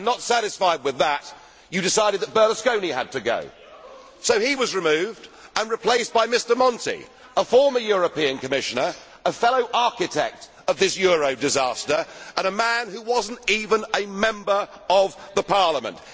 And not satisfied with that, you decided that Berlusconi had to go, so he was removed and replaced by Mr Monti a former European Commissioner, a fellow architect of this euro disaster, and a man who was not even a member of the Parliament.